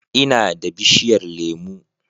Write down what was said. Ina da bishiyar lemu